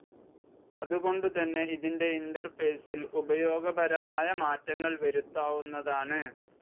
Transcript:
അതുകൊണ്ടു തന്നെ ഇതിൻ്റെ ഇൻ്റർഫേസിൽ ഉപയോഗപരമായ മാറ്റങ്ങൾ വരുത്താവുന്നതാണ്.